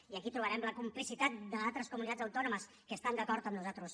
i aquí trobarem la complicitat d’altres comunitats autònomes que estan d’acord amb nosaltres